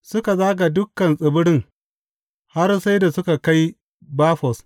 Suka zaga dukan tsibirin har sai da suka kai Bafos.